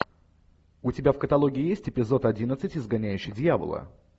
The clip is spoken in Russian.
у тебя в каталоге есть эпизод одиннадцать изгоняющий дьявола